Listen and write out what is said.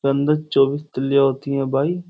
अंदर चौबीश तिल्लीया होती है भाई।